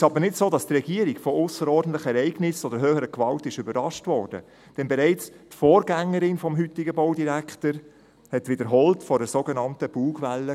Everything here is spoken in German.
Nun ist es aber nicht so, dass die Regierung von aussergewöhnlichen Ereignissen oder höherer Gewalt überrascht wurde, denn bereits die Vorgängerin des heutigen Baudirektors sprach wiederholt von einer sogenannten Bugwelle.